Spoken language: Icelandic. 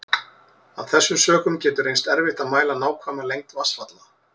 Af þessum sökum getur reynst erfitt að mæla nákvæma lengd vatnsfalla.